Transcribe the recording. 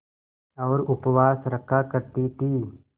और उपवास रखा करती थीं